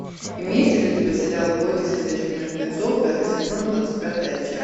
имеется ли у тебя сериал бойтесь ходячих мертвецов пятый сезон двадцать пятая часть